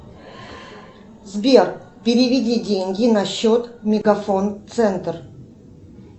сбер переведи деньги на счет мегафон центр